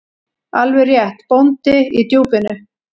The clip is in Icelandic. Alveg rétt: Bóndi í Djúpinu.